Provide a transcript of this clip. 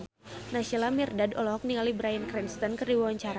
Naysila Mirdad olohok ningali Bryan Cranston keur diwawancara